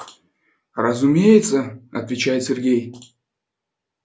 разумеется отвечает сергей